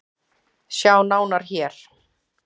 Sjá nánar hér.